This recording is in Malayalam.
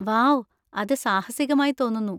വൗ! അത് സാഹസികമായി തോന്നുന്നു.